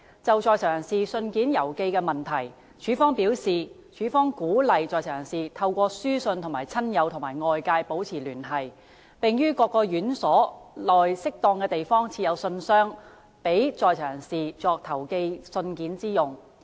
就在囚人士信件郵寄的問題，署方表示，署方鼓勵在囚人士透過書信與親友及外界保持聯繫，並於各院所內適當地方設有信箱，供在囚人士作投寄信件之用。